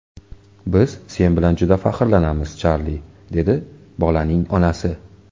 Biz sen bilan juda faxrlanamiz, Charli”, dedi bolaning onasi.